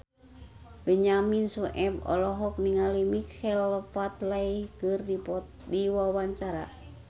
Benyamin Sueb olohok ningali Michael Flatley keur diwawancara